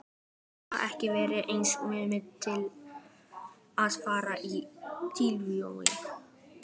Hafði það ekki verið hans hugmynd að fara í Tívolí?